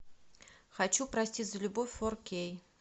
хочу прости за любовь фор кей